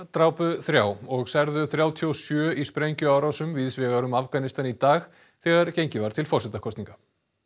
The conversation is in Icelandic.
drápu þrjá og særðu þrjátíu og sjö í sprengjuárásum víðs vegar um Afganistan í dag þegar gengið var til forsetakosninga